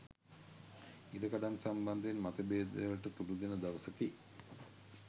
ඉඩකඩම් සම්බන්ධයෙන් මතභේදවලට තුඩුදෙන දවසකි